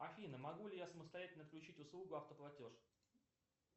афина могу ли я самостоятельно включить услугу автоплатеж